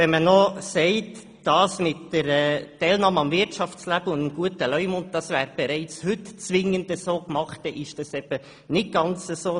Wenn man sagt, die Bedingungen der Teilnahme am Wirtschaftsleben und des guten Leumunds würden bereits heute so umgesetzt, trifft dies eben nicht ganz zu.